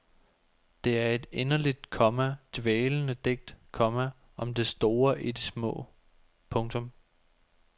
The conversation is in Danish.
Det er et inderligt, komma dvælende digt, komma om det store i det små. punktum